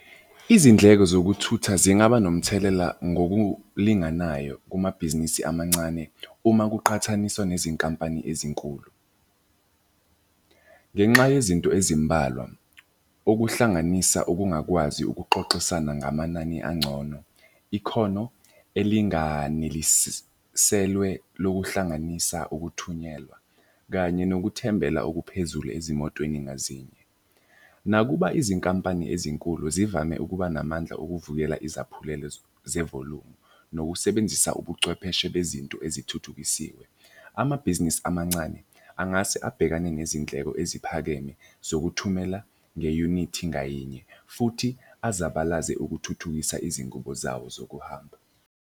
Izindleko zokuthutha zingaba nomthelela ngokulinganayo kumabhizinisi amancane uma kuqhathaniswa nezinkampani ezinkulu ngenxa yezinto ezimbalwa, okuhlanganisa ukungakwazi ukuxoxisana ngamanani angcono. Ikhono elinganiliselwe lokuhlanganisa ukuthunyelwa, kanye nokuthembela okuphezulu ezimotweni ngazinje. Nakuba izinkampani ezinkulu zivame ukuba namandla okuvukela izaphulelo zevolumu. Nokusebenzisa ubuchwepheshe bezinto ezithuthukisiwe. Amabhizinisi amancane angase abhekane nezindleko eziphakeme zokuthumela nge-unit ngayinye futhi azabalaze ukuthuthukisa izingubo zawo zokuhamba.